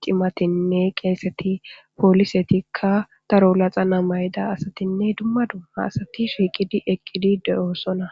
cimatinne qaseti ,plisetika daro laxana mayida asatinne dumma dumma asat shiqid eqid de'osona.